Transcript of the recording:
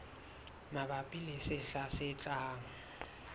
mabapi le sehla se tlang